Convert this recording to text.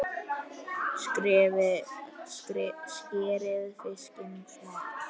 Skerið fiskinn smátt.